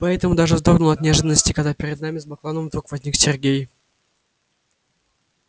поэтому даже вздрогнула от неожиданности когда перед нами с баклановым вдруг возник сергей